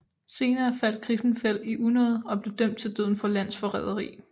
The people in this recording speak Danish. Senere faldt Griffenfeld i unåde og blev dømt til døden for landsforræderi